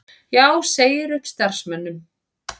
Já segir upp starfsmönnum